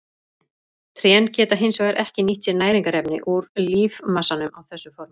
Trén geta hins vegar ekki nýtt sér næringarefni úr lífmassanum á þessu formi.